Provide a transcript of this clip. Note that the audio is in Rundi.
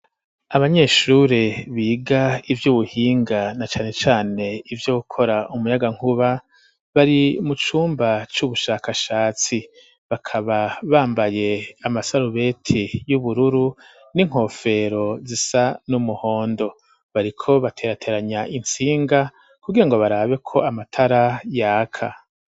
Abanyeshure biga ivyo ubuhinga na cane cane ivyo gukora umunyagankuba bari mu cumba c'ubushakashatsi bakaba bambaye amasarubeti y'ubururu n'inkofero zisa n'umuhondo, bariko baterateranya intsinga kubwira ngo barabe ko amatara yaka.